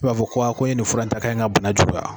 I b'a fɔ ko ko in ye nin fura in ta k'a ye n ka bana juguya.